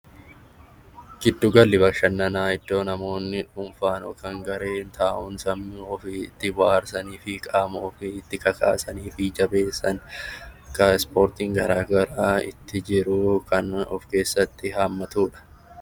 Giddu galli bashannanaa iddoo namoonni dhuunfaan yookiin kan garee ta'uun sammuu itti bohaarsanii fi qaama ofii itti kakaasanii fi jabeessan bakka ispoortiin garaagaraa itti jiru kan of keessatti hammatudha